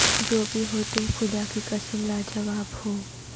جو بھی ہو تم خدا کی قسم لا جواب ہو